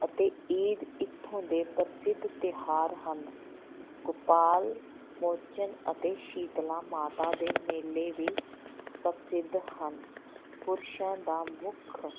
ਅਤੇ ਈਦ ਇੱਥੋਂ ਦੇ ਪ੍ਰਸਿੱਧ ਤਿਉਹਾਰ ਹਨ, ਗੋਪਾਲ ਮੋਚਨ ਅਤੇ ਸੀਤਲਾ ਮਾਤਾ ਦੇ ਮੇਲੇ ਵੀ ਪ੍ਰਸਿੱਧ ਹਨ, ਪੁਰਸ਼ਾਂ ਦਾ ਮੁੱਖ